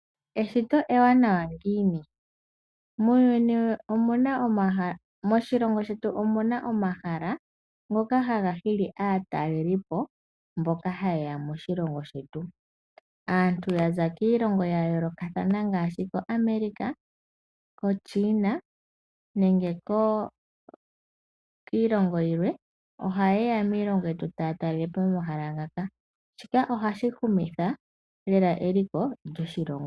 Eshito ewanawa ngiini . Moshilongo shetu omuna omahala ngoka haga hili aatalelipo mboka ha yeya moshilongo shetu .Aantu yaza kiilongo ya yoolokathana ngaashi ko America, koChiina nenge kiilongo yilwe ohayeya nee kiilongo yetu taya talelepo shika ohashi humitha eliko lyoshilongo.